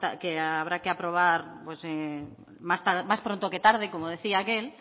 que habrá que aprobar más pronto que tarde como decía aquel